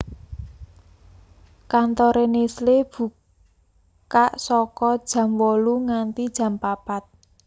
Kantore Nestle buka saka jam wolu nganti jam papat